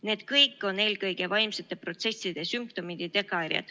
Need kõik on eelkõige vaimsete protsesside sümptomid.